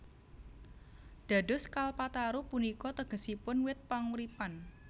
Dados Kalpataru punika tegesipun wit panguripan